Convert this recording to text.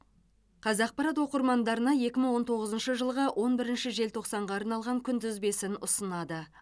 қазақпарат оқырмандарына екі мың он тоғызыншы жылғы он бірінші желтоқсанға арналған күнтізбесін ұсынады